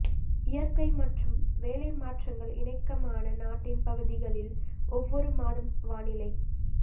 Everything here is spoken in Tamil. இயற்கை மற்றும் வேலை மாற்றங்கள் இணக்கமான நாட்டின் பகுதிகளில் ஒவ்வொரு மாதம் வானிலை